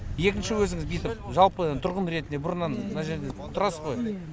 екінші өзіңіз бүйтіп жалпы тұрғын ретінде бұрыннан мына жерде тұрас қой